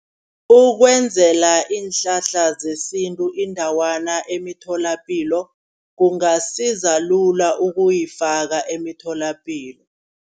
Ukwenzela iinhlahla zesintu indawana emitholapilo. Kungasiza lula ukuyifaka emitholapilo.